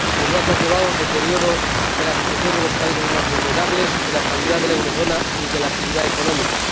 Ello ha conllevado el deterioro de la situación de los países más vulnerables, de la estabilidad de la eurozona y de la actividad económica.